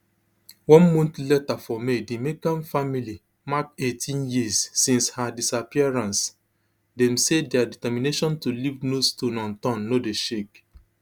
one month later formay di mccann family markeighteen years since her disappearance dem say dia determination to leave no stone unturned no dey shake